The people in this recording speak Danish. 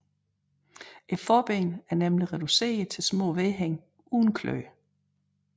Forbenene er nemlig reduceret til små vedhæng uden kløer